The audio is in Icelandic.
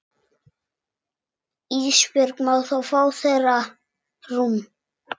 Ísbjörg má fá þeirra rúm.